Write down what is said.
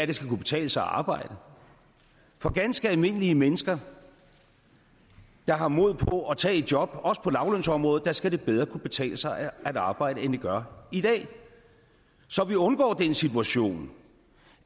det skal kunne betale sig at arbejde for ganske almindelige mennesker der har mod på at tage et job også på lavtlønsområdet skal det bedre kunne betale sig at arbejde end det gør i dag så vi undgår den situation